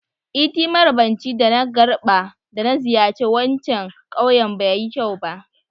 Iti marabanci da na garɓa da na ziyace wancan ƙawyen ba yi kyau.